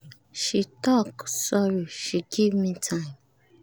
she tok sorry she give me time.